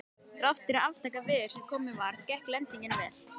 Þrátt fyrir aftakaveður sem komið var, gekk lendingin vel.